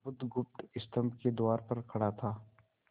बुधगुप्त स्तंभ के द्वार पर खड़ा था